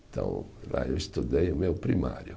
Então, lá eu estudei o meu primário.